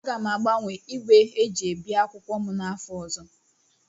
Aga m agbanwe igwe eji ebi akwụkwọ m n'afọ ọzọ.